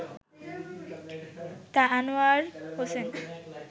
তা আনোয়ার হোসেন